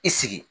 I sigi